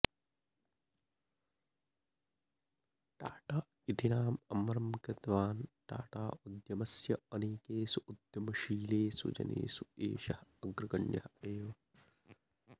टाटा इति नाम अमरं कृतवान् टाटा उद्यमस्य अनेकेषु उद्यमशीलेषु जनेषु एषः अग्रगण्यः एव